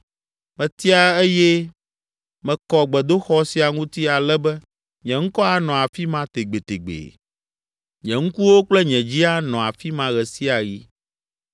Metia eye mekɔ gbedoxɔ sia ŋuti ale be nye ŋkɔ anɔ afi ma tegbetegbee. Nye ŋkuwo kple nye dzi anɔ afi ma ɣe sia ɣi.